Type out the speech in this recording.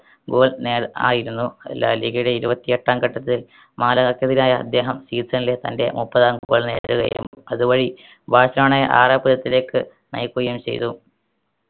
goal നേർ ആയിരുന്നു ലാലീഗയുടെ ഇരുപത്തി എട്ടാം ഘട്ടത്തിൽ മാലാകർക്ക് ക്കെതിരായ അദ്ദേഹം season ലെ തൻറെ മുപ്പതാം goal നേടുകയും അതുവഴി ബാഴ്‌സലോണയെ ആരാപുരത്തിലേക്ക് നയിക്കുകയും ചെയ്തു